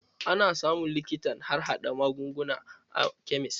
Ana samun likitan harhaɗa magunguna a kemis.